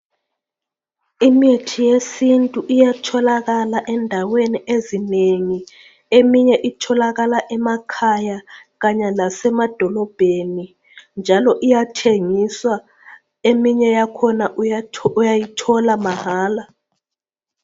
Imithi yesintu iyatholakala endaweni ezinengi eminye itholakala emakhaya kanye lasemadolobheni njalo iyathengiswa eminye yakhona uya uyayithola mahala.